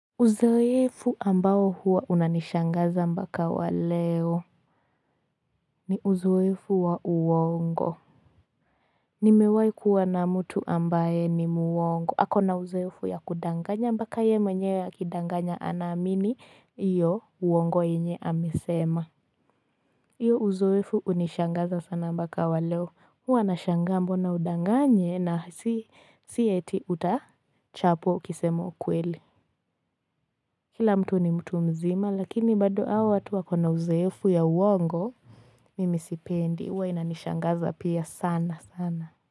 Uzoefu ambao huwa unanishangaza mpaka wa leo ni uzoefu wa uongo. Nimewahi kuwa na mtu ambaye ni muongo. Ako na uzoefu ya kudanganya mpaka yeye mwenye akidanganya anaamini hiyo uongo yenye amesema. Hiyo uzoefu hunishangaza sana mpaka wa leo huwa nashangaa mbona udanganye na si ati utachapwa ukisema ukweli. Kila mtu ni mtu mzima lakini bado hawa watu wakona uzoefu ya uongo Mimi sipendi huwa inanishangaza pia sana sana.